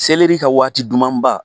Seleri ka waati duman ba